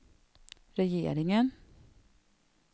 regeringen